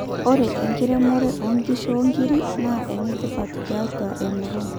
ore enkiremore onkishu oonkiri naa enetipat tiatua emurua